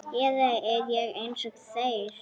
Eða er ég einsog þeir?